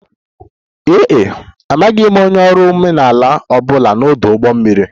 Ee e, amaghị m onye ọrụ omenala ọ bụla n'ọdụ ụgbọ mmiri